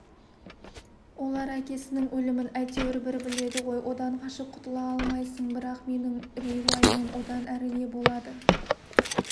олар әкесінің өлімін әйтеуір бір біледі ғой одан қашып құтыла алмайсың бірақ менің үрей-уайымым одан әрі не болады